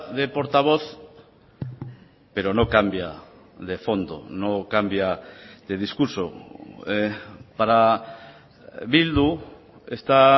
de portavoz pero no cambia de fondo no cambia de discurso para bildu esta